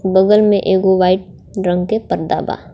बगल में एगो व्हाइट रंग के पर्दा बा.